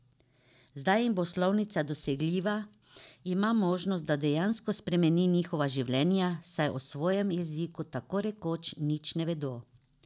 Zdaj jim bo slovnica dosegljiva, ima možnost, da dejansko spremeni njihova življenja, saj o svojem jeziku tako rekoč nič ne vedo.